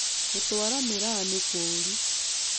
Gũtwara mĩraa nĩ kũru